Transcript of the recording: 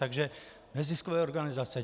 Takže neziskové organizace.